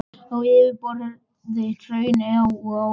á yfirborði hrauna og á jöðrum innskota.